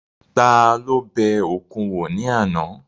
Ta ló bẹ òkun wò ní àná?